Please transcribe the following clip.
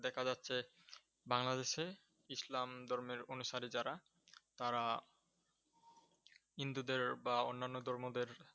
দেখা যাচ্ছে, বাংলাদেশে ইসলাম ধর্মের অনুসারী যারা, তারা হিন্দুদের, বা অন্যান্য ধর্মদের